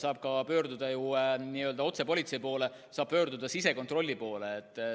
Saab pöörduda ka otse politsei poole, saab pöörduda sisekontrolli poole.